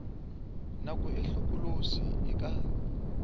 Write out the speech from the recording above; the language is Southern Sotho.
nako e hlokolosi e ka